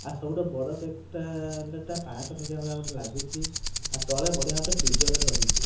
ଆଉ ସବୁଠୁ ବଡ଼ ପକ୍ ଟା ଏଟା ପଂଶ ଟଙ୍କିଆ ଭଳିଆ ମତେ ଲାଗୁଚି ଆ ତଳେ ବଢିଆ ଗୋଟେ ଫିଜ଼ର ରହିଚି।